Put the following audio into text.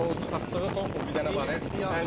Yəni o çıxartdığı top, o bir dənə var idi.